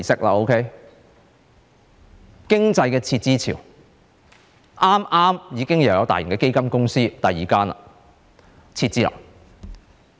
說到經濟的撤資潮，剛剛又有大型基金公司撤資，已是第二間了。